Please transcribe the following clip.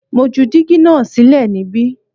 Mo ju dígí náà sílẹ̀ níbí